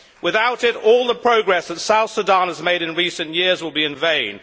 Without it, all the progress that Southern Sudan has made in recent years will be in vain.